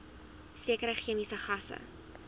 sekere chemiese gasse